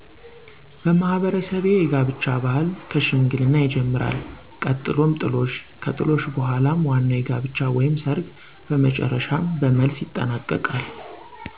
በማህበረሰቤ የጋብቻ ባህል ከሽምግልና ይጀምራል ቀጥሎም ጥሎሽ ከጥሎሽ በኃላም ዋናዉ የጋብቻ ወይም ሰርግ በመጨረሻም በመልስ ይጠናቀቃል።